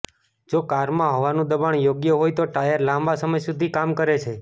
જો કારમાં હવાનું દબાણ યોગ્ય હોય તો ટાયર લાંબા સમય સુધી કામ કરે છે